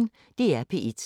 DR P1